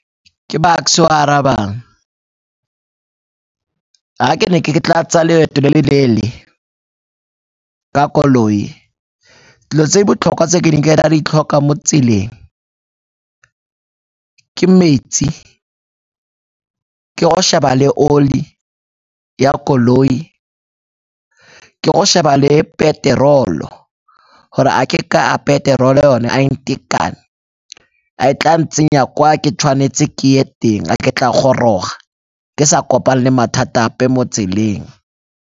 Ke Bucks-e yo a arabang, ha ke ne ke tla tsaya leeto le le leele ka koloi, dilo tse botlhokwa tse ke ne ke ka di tlhokwa mo tseleng ke metsi, ke go sheba le oli ya koloi, ke go sheba le peterolo gore a ke ka a peterolo yone a e ntekane. A e tla ntsenya kwa ke tshwanetse ke teng a ke tla goroga ke sa kopane le mathata ape mo tseleng.